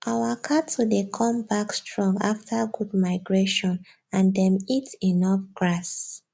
our cattle dey come back strong after good migration and them eat enough grass